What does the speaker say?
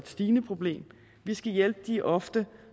stigende problem vi skal hjælpe de ofte